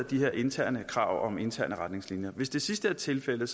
de her interne krav om interne retningslinjer hvis det sidste er tilfældet